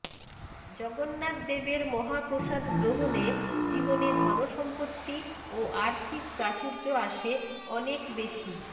জগন্নাথদেবের মহাপ্রসাদ গ্রহণে জীবনে ধনসম্পত্তি ও আর্থিক প্রাচুর্য আসে অনেক বেশি